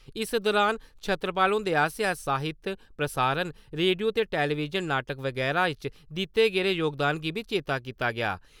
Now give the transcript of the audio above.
इस दुरान छतरपाल हुंदे आसेआ साहित्य, प्रसारण, रेडियो ते टेलीविजन नाटक बगैरा च दित्ते गेदे जोगदान गी बी चेता कीता गेआ।